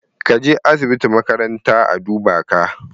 Ka je asibiti makaranta a duba ka